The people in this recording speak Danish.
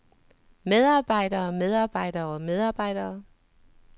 medarbejdere medarbejdere medarbejdere